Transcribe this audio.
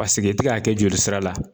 i tɛ ka kɛ jolisira la